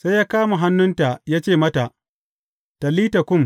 Sai ya kama hannunta ya ce mata, Talita kum!